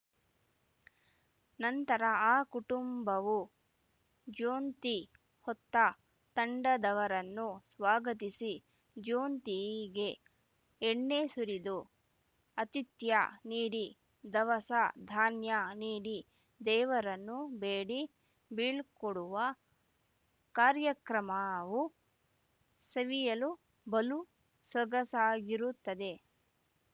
ನಂತರ ಆ ಕುಟುಂಬವು ಜ್ಯೋನಂತಿ ಹೊತ್ತ ತಂಡದವರನ್ನು ಸ್ವಾಗತಿಸಿ ಜ್ಯೋನಂತಿಗೆ ಎಣ್ಣೆ ಸುರಿದು ಆತಿಥ್ಯ ನೀಡಿ ದವಸ ಧಾನ್ಯ ನೀಡಿ ದೇವರನ್ನು ಬೇಡಿ ಬೀಳ್ಕೊಡುವ ಕಾರ್ಯಕ್ರಮವು ಸವಿಯಲು ಬಲು ಸೊಗಸಾಗಿರುತ್ತದೆ